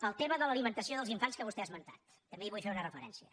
al tema de l’alimentació dels infants que vostè ha esmentat també hi vull fer una referència